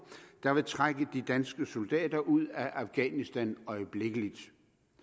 der vil trække de danske soldater ud af afghanistan øjeblikkelig